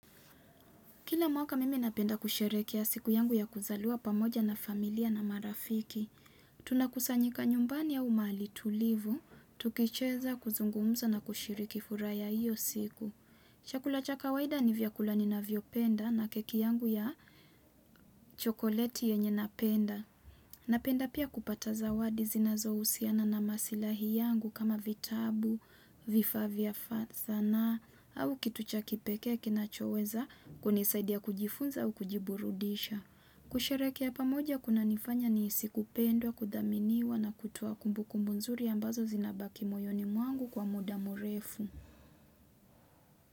Kila mwaka mimi napenda kusherehekea siku yangu ya kuzalia pamoja na familia na marafiki. Tuna kusanyika nyumbani au mahali tulivu, tukicheza kuzungumuza na kushiriki furaha ya hiyo siku. Chakula cha kawaida ni vyakula ni navyo penda na keki yangu ya chokoleti yenye napenda. Napenda pia kupata zawadi zinazohusiana na masilahi yangu kama vitabu, vifaa vya sanaa au kitu cha kipekee kinachoweza kunisaidia kujifunza au kujiburudisha. Kusherehekea pamoja kuna nifanya nihisikupendwa, kudhaminiwa na kutoa kumbuku mzuri ambazo zinabaki moyoni mwangu kwa muda murefu.